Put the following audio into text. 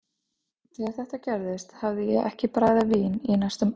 Þegar þetta gerðist hafði ég ekki bragðað vín í næstum ár.